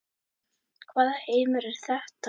Hvaða heimur er þetta?